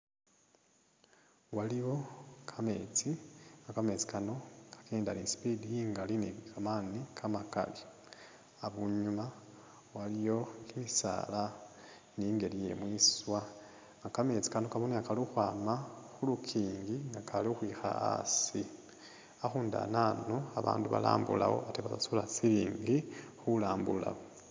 Waliwo kametsi, kametsi kano kakenda ni i'speed ingali ni kamaani kamakali. Abunyuma waliyo kimisaala ni ingeli ye mwiswa. Kametsi kano kabonekha kali ukhwama khu lukingi nga kali ukhwikha asi. Ukhundu anano abandu balambulawo ate basasula silingi khulambulawo.